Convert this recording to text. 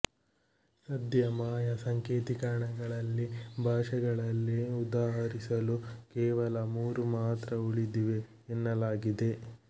ಸದ್ಯ ಮಾಯಾ ಸಂಕೇತಿಕರಣಗಳಲ್ಲಿ ಭಾಷೆಗಳಲ್ಲಿ ಉದಾಹರಿಸಲು ಕೇವಲ ಮೂರು ಮಾತ್ರ ಉಳಿದಿವೆ ಎನ್ನಲಾಗಿದೆ